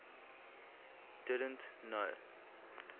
didn t know